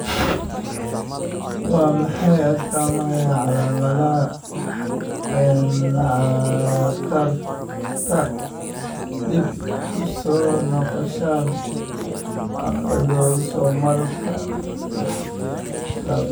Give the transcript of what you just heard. Waa maxay astaamaha iyo calamadaha cataract, dib u soo noqoshada autosomalka labaad?